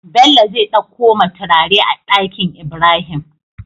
Bello zai ɗakko ma turare a Ɗakinibrahim